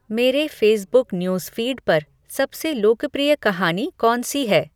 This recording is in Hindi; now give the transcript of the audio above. मेरे फ़ेसबुक न्यूज़फ़ीड पर सबसे लोकप्रिय कहानी कौन सी है